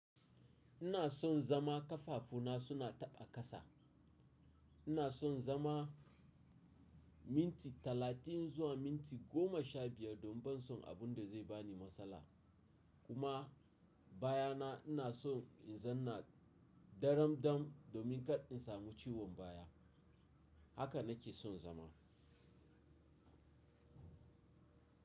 Ina son zama ƙafafu na suna taɓa ƙasa. Ina son zama minti talatin zuwa minti goma sha biyar don ban son abun da zai bani matsala. Kuma baya na ina son in zanna daram dam domin kar in samu ciwon baya. Haka na ke son zama.